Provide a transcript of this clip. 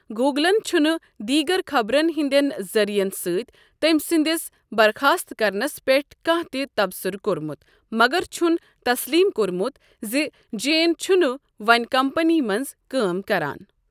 گوٗگلَن چُھ نہٕ دیٖگر خبرن ہِنٛدین ذرریعن سۭتی تٔمۍ سٕنٛدِس برخاست کرنس پیٹھ کانٛہہ تہِ تبصُرٕ کوٚرمُت، مگر چُھن تسلیٖم کوٚرمُت زِ جیٚن چُھ نہٕ وۄنۍ کمپٔنی منٛز کٲم کَران۔